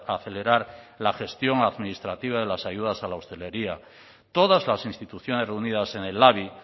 a acelerar la gestión administrativa de las ayudas a la hostelería todas las instituciones reunidas en el labi